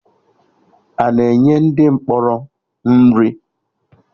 Ana enye ndị mkpọrọ nri?